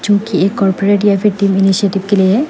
जो कि एक और ब्रेड या फिर के लिए है।